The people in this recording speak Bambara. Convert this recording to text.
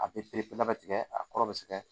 A bɛ pereperelabɛ tigɛ a kɔrɔ bɛ se ka